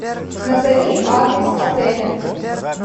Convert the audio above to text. назови адрес отеля